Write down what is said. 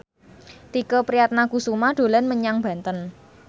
Tike Priatnakusuma dolan menyang Banten